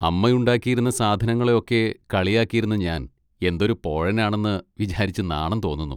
അമ്മ ഉണ്ടാക്കിയിരുന്ന സാധനങ്ങളെയൊക്കെ കളിയാക്കിയിരുന്ന ഞാൻ എന്തൊരു പോഴനാണെന്ന് വിചാരിച്ചു നാണം തോന്നുന്നു.